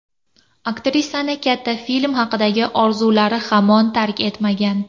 Aktrisani katta film haqidagi orzulari hamon tark etmagan.